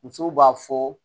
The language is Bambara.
Musow b'a fɔ